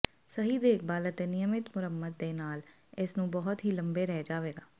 ਸਹੀ ਦੇਖਭਾਲ ਅਤੇ ਨਿਯਮਿਤ ਮੁਰੰਮਤ ਦੇ ਨਾਲ ਇਸ ਨੂੰ ਬਹੁਤ ਹੀ ਲੰਬੇ ਰਹਿ ਜਾਵੇਗਾ